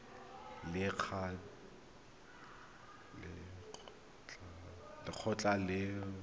le lekgotlha la banetetshi ba